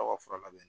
Aw ka fura labɛn